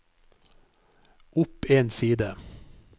opp en side